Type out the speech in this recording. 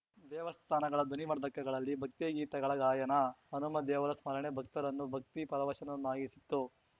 ದೇವಸ್ಥಾನಗಳ ಧ್ವನಿವರ್ಧಕಗಳಲ್ಲಿ ಭಕ್ತಿಗೀತೆಗಳ ಗಾಯನ ಹನುಮ ದೇವರ ಸ್ಮರಣೆ ಭಕ್ತರನ್ನು ಭಕ್ತಿ ಪರವಶರನ್ನಾಗಿಸಿತ್ತು